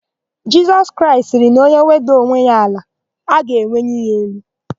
Jisọs Kraịst sịrị na onye wedaa onwe ya n'ala; a ga-eweli ya elu.